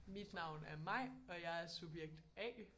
Mit navn er Maj og jeg er subjekt A